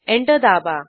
enter दाबा